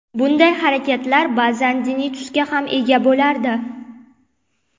Bunday harakatlar ba’zan diniy tusga ham ega bo‘lardi.